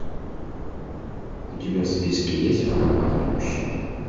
у тебя в списке есть в компании мужчин